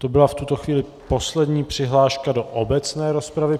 To byla v tuto chvíli poslední přihláška do obecné rozpravy.